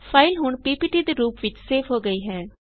file ਹੁਣ PPT ਦੇ ਰੂਪ ਵਿੱਚ ਸੇਵ ਹੋ ਗਈ ਹੈ